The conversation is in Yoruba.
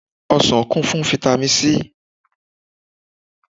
Ọsàn kún fún fáítámì C.